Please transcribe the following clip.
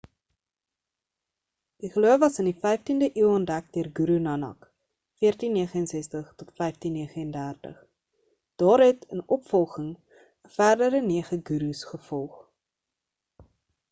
die geloof was in die 15de eeu ontdek deur guru nanak 1469-1539. daar het in opvolging ‘n verdere nege gurus gevolg